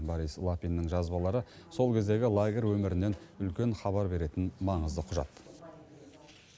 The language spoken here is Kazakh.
борис лапиннің жазбалары сол кездегі лагерь өмірінен үлкен хабар беретін маңызды құжат